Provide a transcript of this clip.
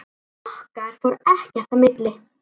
Okkar fór ekkert í milli.